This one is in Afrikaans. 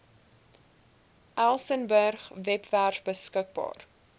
elsenburg webwerf beskikbaar